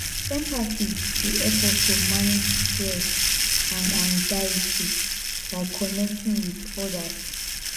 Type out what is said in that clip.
empathy dey help us to manage stress and anxiety by connecting with odas